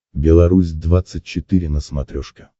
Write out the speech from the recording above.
белорусь двадцать четыре на смотрешке